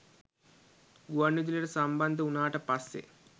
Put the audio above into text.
ගුවන්විදුලියට සම්බන්ධ වුණාට පස්සේ